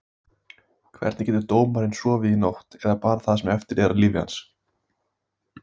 Hvernig getur dómarinn sofið í nótt, eða bara það sem eftir er af lífi hans?